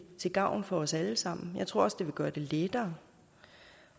til gavn for os alle sammen jeg tror også det vil gøre det lettere